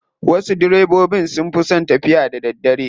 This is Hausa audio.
Wasu direbobin sun fi son tafiya da daddare.